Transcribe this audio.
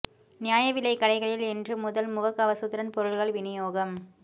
நியாய விலைக் கடைகளில் இன்று முதல் முகக் கவசத்துடன் பொருள்கள் விநியோகம்